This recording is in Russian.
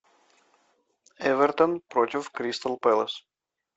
эвертон против кристал пэлас